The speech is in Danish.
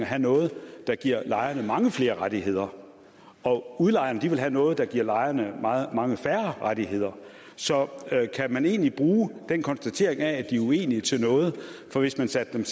have noget der giver lejerne mange flere rettigheder og udlejerne vil have noget der giver lejerne mange færre rettigheder så kan man egentlig bruge konstateringen af at de er uenige til noget for hvis man satte